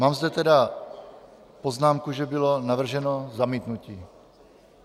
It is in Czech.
Mám zde tedy poznámku, že bylo navrženo zamítnutí.